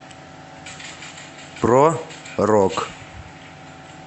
про рок